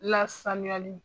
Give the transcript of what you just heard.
Lsanuyali!